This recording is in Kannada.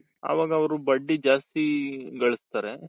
ಅವಾಗ ಅವರು ಬಡ್ಡಿ ಜಾಸ್ತಿ ಗಳುಸ್ತಾರೆ